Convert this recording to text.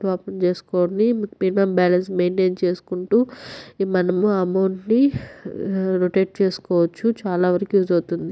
Open చేసుకోండి minimum balance maintain చేసుకుంటూ మనం అమౌంట్ ని రొటేట్ చేసుకోవచ్చు చాలా వరకు యూస్ అవుతుంది.